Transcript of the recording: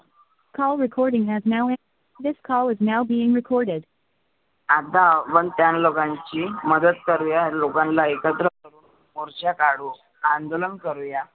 आता आपण त्यां लोकांशी मदत करूया. लोकांना एकत्र मोर्चा काढू, अंदोलन करुया.